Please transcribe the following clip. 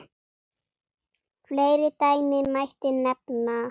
Fleiri dæmi mætti nefna.